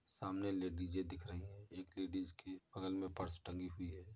सामने लेडीजें दिख रही हैं। एक लेडीस के बगल में पर्स टंगी हुई है।